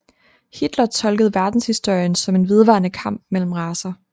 Hitler tolkede verdenshistorien som en vedvarende kamp mellem racer